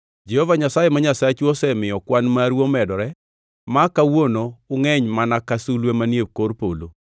Jehova Nyasaye ma Nyasachu osemiyo kwan maru omedore ma kawuono ungʼeny mana ka sulwe manie kor polo.